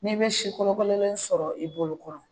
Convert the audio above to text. N'i bɛ si kolokololen sɔrɔ i bolo kɔrɔ